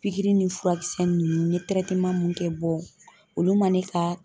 Pikiri ni furakisɛ nunnu n'i ye mun kɛ bɔ olu man ne ka